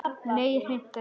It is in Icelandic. Nei, hreint ekki.